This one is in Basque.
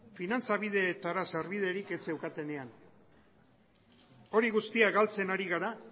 finantza bideetara sarbiderik ez zeukatenean hori guztia galtzen ari gara